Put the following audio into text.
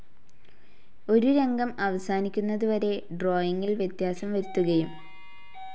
ഒരു രംഗം അവസാനിക്കുന്നതു വരെ ഡ്രോയിംഗിൽ വ്യത്യാസം വരുത്തുകയും ചിത്രീകരിക്കുകയും ചെയ്യും.